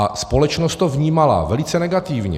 A společnost to vnímala velice negativně.